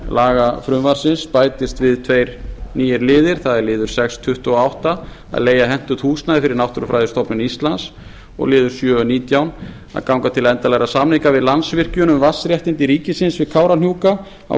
lagafrumvarpsins bætast við tveir nýir liðir það er liður sex tuttugu og átta að leigja hentugt húsnæði fyrir náttúrufræðistofnun íslands og liður sjö nítján að ganga til endanlegra samninga við landsvirkjun um vatnsréttindi ríkisins við kárahnjúka á